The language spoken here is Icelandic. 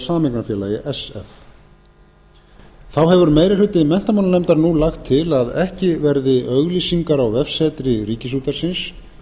áður að sameignarfélagi þá hefur meiri hluti menntamálanefndar nú lagt til að ekki verði auglýsingar á vefsetri ríkisútvarpsins